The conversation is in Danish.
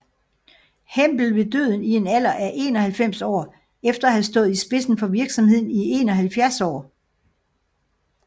Hempel ved døden i en alder af 91 år efter at have stået i spidsen for virksomheden i 71 år